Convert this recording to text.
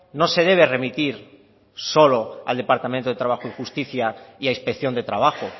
no se debe remitir solo al departamento de trabajo y justicia y a inspección de trabajo